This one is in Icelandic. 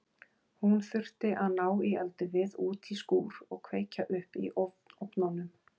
Hún þurfti að ná í eldivið út í skúr og kveikja upp í ofnunum.